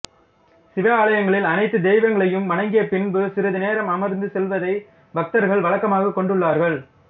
சிவாலயங்களில் அனைத்து தெய்வங்களையும் வணங்கியபின்பு சிறிது நேரம் அமர்ந்து செல்வதை பக்தர்கள் வழக்கமாகக் கொண்டுள்ளார்கள்